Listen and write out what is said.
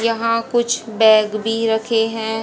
यहां कुछ बैग भी रखे हैं।